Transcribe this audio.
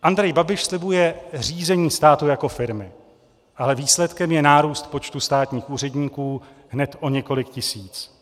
Andrej Babiš slibuje řízení státu jako firmy, ale výsledkem je nárůst počtu státních úředníků hned o několik tisíc.